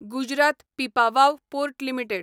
Gujarat Pipavav port limited